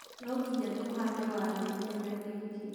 nonginya tũhande waru kĩmera gĩĩkĩ